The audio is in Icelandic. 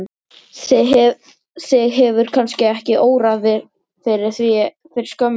Þig hefur kannski ekki órað fyrir því fyrir skömmu síðan?